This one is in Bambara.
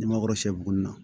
N'i ma kɔrɔsiyɛ bugunin na